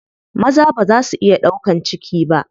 Maza baza su iya ɗaukan ciki ba.